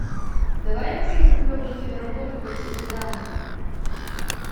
давай я посмотрю клевую киноработу по типу драмы